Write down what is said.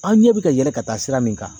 An ɲɛ bɛ ka yɛlɛ ka taa sira min kan.